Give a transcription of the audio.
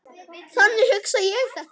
Þannig hugsa ég þetta.